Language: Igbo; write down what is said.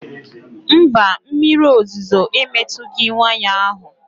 Mba, mmiri ozuzo emetughị waya ahụ